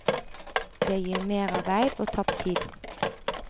Det gir merarbeid og tapt tid.